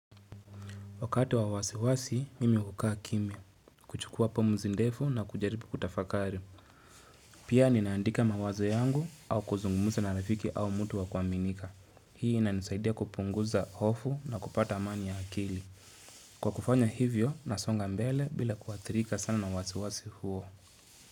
Wakati wa wasiwasi, mimi hukaa kimya, kuchukua pomzi ndefu na kujaribu kutafakari. Pia ninaandika mawazo yangu au kuzungumuza na rafiki au mtu wa kuaminika. Hii ina nisaidia kupunguza hofu na kupata amani ya akili. Kwa kufanya hivyo, nasonga mbele bila kuathirika sana na wasiwasi huo.